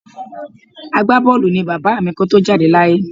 Agbábọ́ọ̀lù ni bàbá mi kó tó jáde láyé